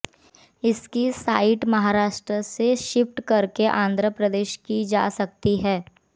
इसकी साइट महाराष्ट्र से शिफ्ट करके आंध्र प्रदेश की जा सकती है